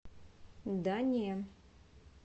дания